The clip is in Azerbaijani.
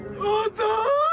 Ayda!